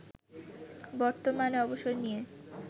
বর্তমানে অবসর নিয়ে